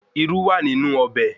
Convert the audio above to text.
Irú náà wà ní inú ọbẹ̀